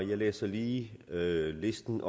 og jeg læser lige listen